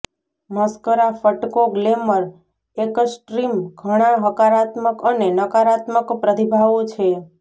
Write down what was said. mascara ફટકો glamour extreme ઘણા હકારાત્મક અને નકારાત્મક પ્રતિભાવો છે